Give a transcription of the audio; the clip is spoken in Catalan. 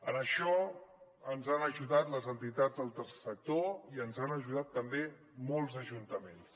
en això ens hi han ajudat les entitats del tercer sector i ens hi ajudat també molts ajuntaments